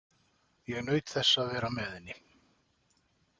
Ég naut þess að vera með henni.